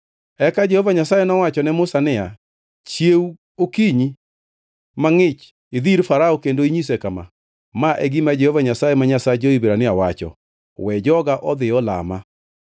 Eka Jehova Nyasaye nowacho ne Musa niya, “Chiew okinyi mangʼich, idhi ir Farao kendo inyise kama: ‘Ma e gima Jehova Nyasaye ma Nyasach jo-Hibrania wacho: We joga odhi olama.